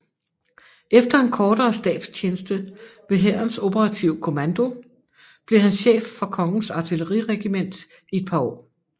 Efter en kortere stabstjeneste ved Hærens Operative Kommando bliver han chef for Kongens Artilleriregiment i et par år